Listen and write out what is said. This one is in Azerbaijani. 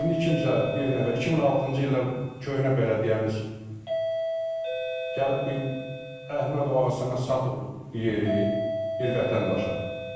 İndi kimsə bir nəfər 2006-cı ildə köhnə bələdiyyəmiz gəlib bir Əhməd Ağasəməd satıb bu yeri bir vətəndaşa.